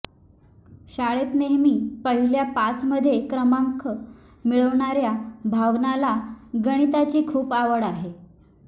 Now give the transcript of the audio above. शाळेत नेहमी पहिल्या पाचमध्ये क्रमांक मिळवणाऱ्या भावनाला गणिताची खूप आवड आहे